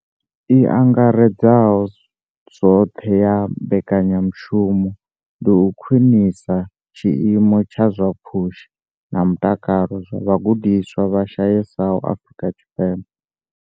I angaredzaho zwoṱhe ya mbekanyamushumo ndi u khwinisa tshiimo tsha zwa pfushi na mutakalo zwa vhagudiswa vha shayesaho Afrika Tshipembe.